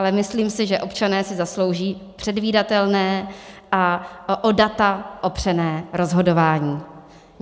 Ale myslím si, že občané si zaslouží předvídatelné a o data opřené rozhodování.